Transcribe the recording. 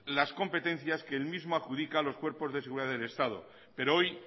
las competencia que el mismo adjudica a los cuerpos de seguridad del estado pero hoy